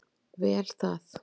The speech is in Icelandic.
Vel það.